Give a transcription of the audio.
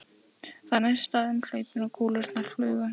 Það neistaði um hlaupin og kúlurnar flugu.